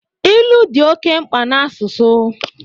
Ilu dị oke mkpa na asụsụ